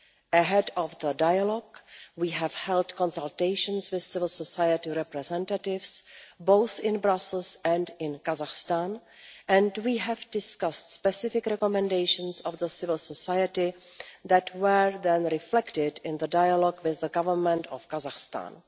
Ahead of the dialogue, we have held consultations with civil society representatives, both in Brussels and in Kazakhstan, and we have discussed specific recommendations from civil society that were then reflected in the dialogue with the Government of Kazakhstan.